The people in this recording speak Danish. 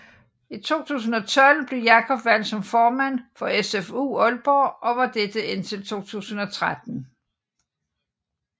I 2012 blev Jacob valgt som formand for SFU Aalborg og var dette indtil 2013